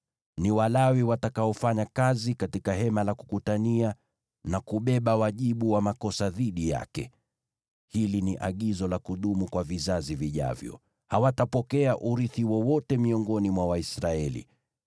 Ni Walawi watakaofanya kazi katika Hema la Kukutania na kubeba wajibu wa makosa dhidi yake. Hili ni agizo la kudumu kwa vizazi vijavyo. Hawatapokea urithi wowote miongoni mwa Waisraeli.